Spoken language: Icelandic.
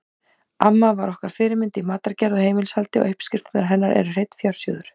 Amma var okkar fyrirmynd í matargerð og heimilishaldi og uppskriftirnar hennar eru hreinn fjársjóður.